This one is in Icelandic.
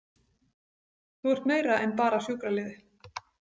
Þú ert meira en bara sjúkraliði.